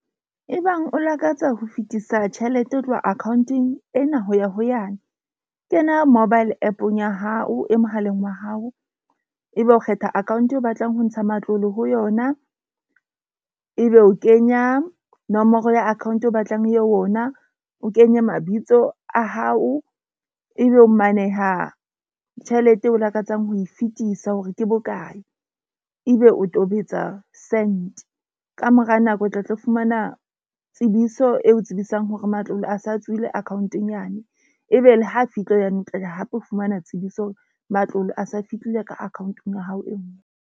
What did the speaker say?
E bang o lakatsa ho fetisa tjhelete ho tloha akhaonteng ena ho ya ho yane. Kena mobile app-ong ya hao e mohaleng wa hao. Ebe o kgetha account eo o batlang ho ntsha matlole ho yona. Ebe o kenya nomoro ya account o batlang e ye ho yona. O kenye mabitso a hao, ebe o maneha tjhelete eo o lakatsang ho e fetisa hore ke bokae. Ebe o tobetsa send ka mora nako, o tla tlo fumana tsebiso e o tsebisang hore matlole a sa tswile account-eng yane ebe ha tlo fumana tsebiso matlole a sa fihlile ka account-ong ya hao e nngwe.